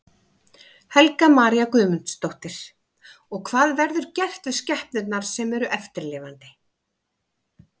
Helga María Guðmundsdóttir: Og hvað verður gert við skepnurnar sem eru eftir lifandi?